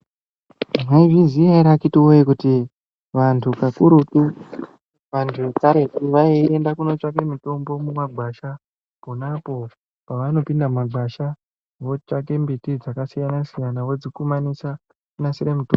Mwaizviziya ere akiti woyee kuti vanthu vakurutu vanthu vekaretu vaienda kunotsvake mitombo mumagwasha ponapo pavanopinda mumagwasha votsvake mbiti dzakasiyanasiyana vodzikumanisa kunasira mitombo.